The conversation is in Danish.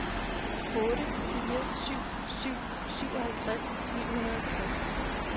otte fire syv syv syvoghalvtreds ni hundrede og tres